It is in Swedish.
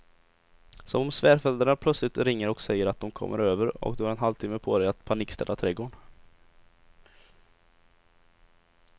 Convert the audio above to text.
Som om svärföräldrarna plötsligt ringer och säger att de kommer över och du har en halvtimme på dig att panikstäda trädgården.